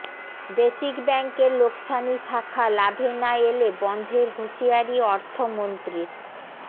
basic ব্যাংকের লোকসানি শাখা লাভে না এলে বন্ধের হুঁশিয়ারি অর্থমন্ত্রীর